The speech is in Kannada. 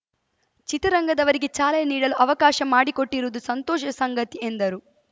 ಚಿತ್ರರಂಗದವರಿಗೆ ಚಾಲನೆ ನೀಡಲು ಅವಕಾಶ ಮಾಡಿಕೊಟ್ಟಿರುವುದು ಸಂತೋಷದ ಸಂಗತಿ ಎಂದರು